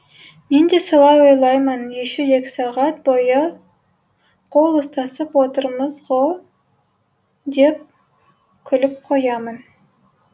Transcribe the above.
мен де солай ойлаймын еще екі сағат бойы қол ұстасып отырмыз ғо деп күліп қоямын